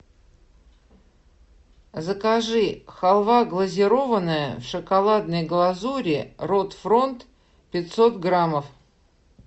закажи халва глазированная в шоколадной глазури рот фронт пятьсот граммов